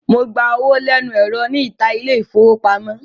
Mo gba owó lẹ́nu ẹ̀rọ níta ilé-ìfowópamọ́sí.